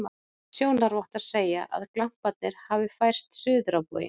Sjónarvottar segja, að glamparnir hafi færst suður á bóginn.